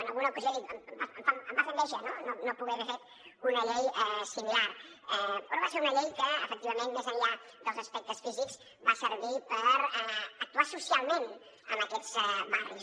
en alguna ocasió em va fer enveja no poder haver fet una llei similar però va ser una llei que efectivament més enllà dels aspectes físics va servir per actuar socialment en aquests barris